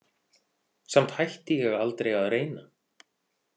Samt hætti ég aldrei að reyna.